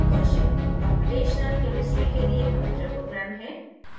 Gaussian computational chemistry के लिए computer programme है